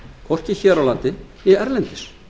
hvorki hér á landi né erlendis